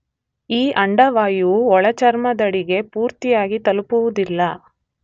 ಈ ಅಂಡವಾಯುವು ಒಳಚರ್ಮದಡಿಗೆ ಪೂರ್ತಿಯಾಗಿ ತಲುಪುವುದಿಲ್ಲ